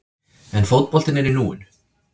En fótboltinn er í núinu.